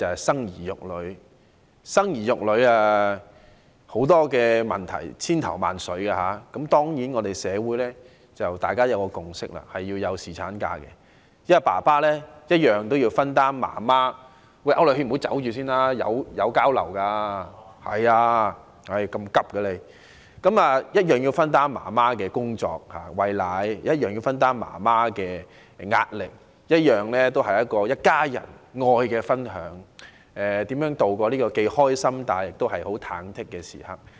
生兒育女涉及多方面的考慮，但社會已有共識，須讓父親享有侍產假，因為他們需要分擔母親的——請區諾軒議員稍留步，大家交流一下吧，為何急着離開呢——工作及母親的壓力，這是一家人愛的分享，共同度過既開心，又忐忑的時光。